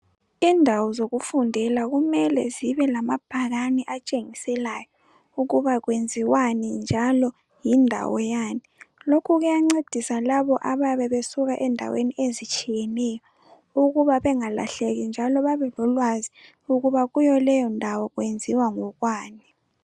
Indawo zokufundela kumele zibe lamabhakani atshengiselayo, ukuba kwenziwani njalo yindawo Yani, lokho kuyancedisa labo abayabe besuka endaweni ezitshiyeneyo ukuba bangalahleki njalo babe lolwazi ukuba kuleyo ndawo kwenziwa ngokwani.